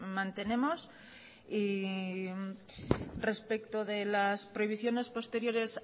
mantenemos y respecto de las prohibiciones posteriores